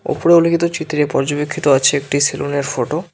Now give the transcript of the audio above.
উপরে উল্লেখিত চিত্রে পর্যবেক্ষিত আছে একটি সেলুন -এর ফটো ।